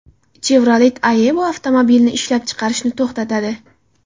Chevrolet Aveo avtomobilini ishlab chiqarishni to‘xtatadi.